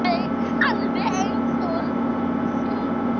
Alveg eins og hún sjálf.